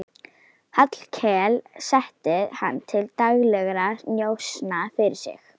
Hallkel setti hann til daglegra njósna fyrir sig.